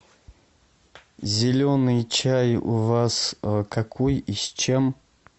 зеленый чай у вас какой и с чем